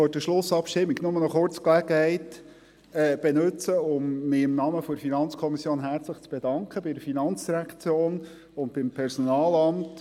Ich möchte vor der Schlussabstimmung nur die Gelegenheit kurz nutzen, um mich im Namen der FiKo herzlich zu bedanken bei der FIN und beim Personalamt.